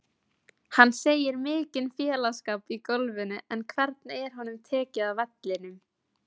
Hann segir mikinn félagsskap í golfinu en hvernig er honum tekið á vellinum?